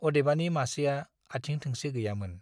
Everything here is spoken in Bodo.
अदेबानि मासेआ आथिं थोंसे गैयामोन।